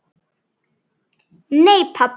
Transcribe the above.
Láttu mig þekkja það.